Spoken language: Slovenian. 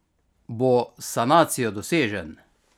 Bo s sanacijo dosežen?